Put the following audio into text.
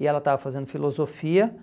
e ela estava fazendo filosofia